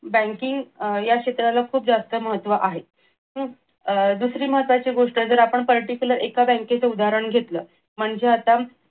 banking या क्षेत्राला खूप जास्त महत्व आहे. हम्म अह दुसरी महत्वाची गोष्ट जर आपण particular एका बँकेच उदाहरण घेतलं म्हणजे आता